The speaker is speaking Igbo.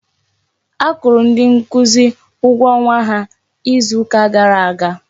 A kwụrụ ndị nkuzi ụgwọ ọnwa ha izu ka gara aga.